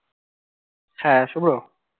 হ্যাঁ শুভ্র